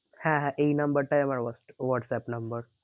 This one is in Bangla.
হ্যাঁ হ্যাঁ এই number টাই আমার whatsapp number